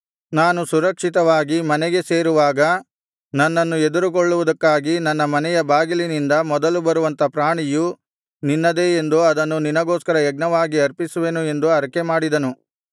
ನಾನು ಸುರಕ್ಷಿತವಾಗಿ ಮನೆಗೆ ಸೇರುವಾಗ ನನ್ನನ್ನು ಎದುರುಗೊಳ್ಳುವುದಕ್ಕಾಗಿ ನನ್ನ ಮನೆಯ ಬಾಗಿಲಿನಿಂದ ಮೊದಲು ಬರುವಂಥ ಪ್ರಾಣಿಯು ನಿನ್ನದೇ ಎಂದು ಅದನ್ನು ನಿನಗೋಸ್ಕರ ಯಜ್ಞವಾಗಿ ಅರ್ಪಿಸುವೆನು ಎಂದು ಹರಕೆಮಾಡಿದನು